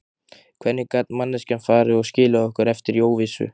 Hvernig gat manneskjan farið og skilið okkur eftir í óvissu?